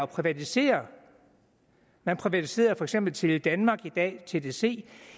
privatisere man privatiserede for eksempel teledanmark i dag tdc